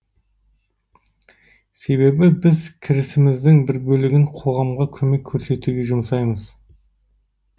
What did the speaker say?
себебі біз кірісіміздің бір бөлігін қоғамға көмек көрсетуге жұмсаймыз